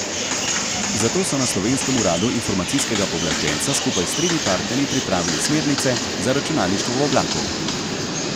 Zato so na slovenskem uradu informacijskega pooblaščenca skupaj s tremi partnerji pripravili smernice za računalništvo v oblaku.